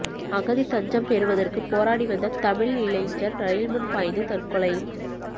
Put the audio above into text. அகதி தஞ்சம் பெறுவதற்கு போராடிவந்த தமிழ் இளைஞர் ரயில்முன் பாய்ந்து தற்கொலை